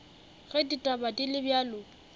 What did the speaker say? ge ditaba di le bjalo